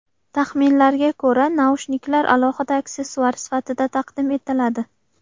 Taxminlarga ko‘ra, naushniklar alohida aksessuar sifatida taqdim etiladi.